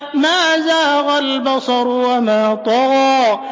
مَا زَاغَ الْبَصَرُ وَمَا طَغَىٰ